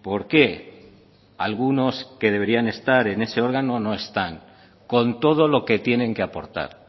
por qué algunos que deberían estar en ese órgano no están con todo lo que tienen que aportar